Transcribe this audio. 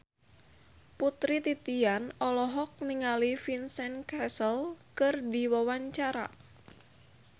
Putri Titian olohok ningali Vincent Cassel keur diwawancara